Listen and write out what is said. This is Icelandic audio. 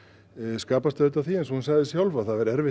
skapast auðvitað af því eins og hún sagði sjálf að það væri erfitt